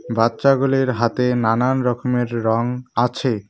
বাচ্চাগুলির হাতে নানান রকমের রং আছে।